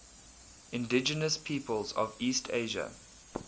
indigenous peoples of east asia